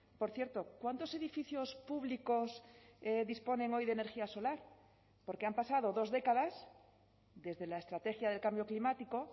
por cierto cuántos edificios públicos disponen hoy de energía solar porque han pasado dos décadas desde la estrategia del cambio climático